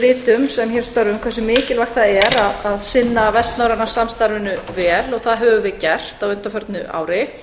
við vitum sem hér störfum hversu mikilvægt það er að sinna vestnorræna samstarfinu vel og það höfum við gert á undanförnu ári